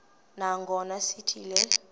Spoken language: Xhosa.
nangona sithi le